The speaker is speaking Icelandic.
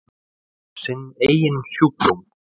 Sinn eigin sjúkdóm.